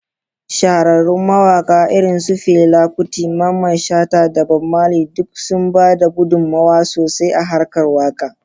Shahararrun mawakan irin su Fela Kuti, Mamman Shata, da Bob Marley duk sun ba da gudunmawa sosai a harkar waka.